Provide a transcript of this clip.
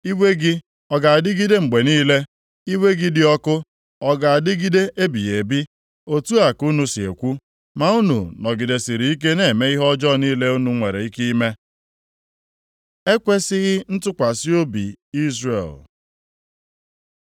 Iwe gị ọ ga-adịgide mgbe niile? Iwe gị dị ọkụ ọ ga-adịgide ebighị ebi?’ Otu a ka unu si ekwu okwu, ma unu nọgidesịrị ike na-eme ihe ọjọọ niile unu nwere ike ime.” Ekwesighị ntụkwasị obi Izrel